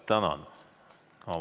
Tänan!